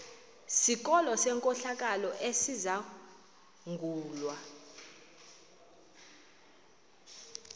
sikolo senkohlakalo esizangulwa